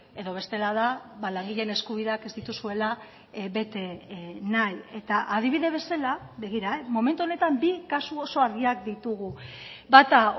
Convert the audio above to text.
edo bestela da langileen eskubideak ez dituzuela bete nahi eta adibide bezala begira momentu honetan bi kasu oso argiak ditugu bata